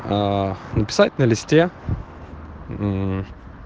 написать на листе